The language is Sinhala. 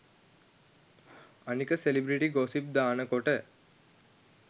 අනික සෙලිබ්‍රිටි ගොසිප් දානකොට